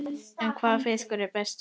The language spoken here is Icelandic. En hvaða fiskur er bestur?